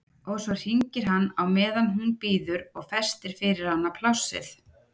Og svo hringir hann á meðan hún bíður og festir fyrir hana plássið.